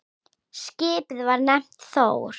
Skipið var nefnt Þór.